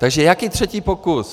Takže jaký třetí pokus?